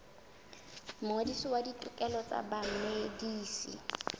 mongodisi wa ditokelo tsa bamedisi